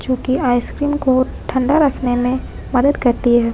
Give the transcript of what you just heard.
जो कि आइसक्रीम को ठंडा रखने में मदद करती है ।